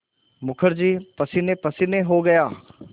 मुखर्जी पसीनेपसीने हो गया